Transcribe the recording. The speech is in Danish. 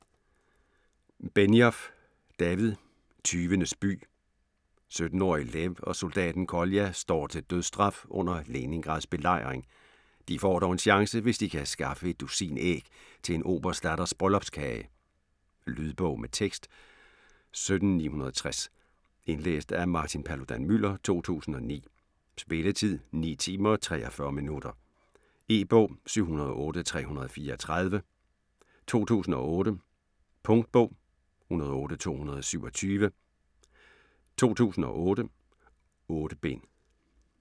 Benioff, David: Tyvenes by 17-årige Lev og soldaten Kolja står til dødsstraf under Leningrads belejring. De får dog en chance, hvis de kan skaffe et dusin æg til en oberstdatters bryllupskage. Lydbog med tekst 17960 Indlæst af Martin Paludan-Müller, 2009. Spilletid: 9 timer, 43 minutter. E-bog 708334 2008. Punktbog 108227 2008. 8 bind.